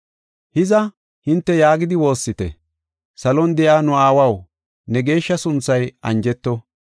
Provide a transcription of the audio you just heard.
“Hiza, hinte yaagidi woossite: “ ‘Salon de7iya nu aawaw, ne geeshsha sunthay anjeto.